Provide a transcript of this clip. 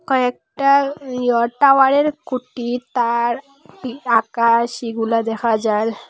কয়েকটা ইও টাওয়ারের খুঁটি তার আকাশ এগুলা দেখা যার।